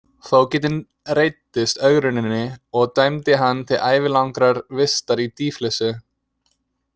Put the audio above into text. Fógetinn reiddist ögruninni og dæmdi hann til ævilangrar vistar í dýflissu.